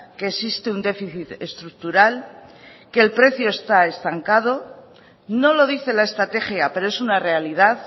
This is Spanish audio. que existe un déficit estructural que el precio está estancado no lo dice la estrategia pero es una realidad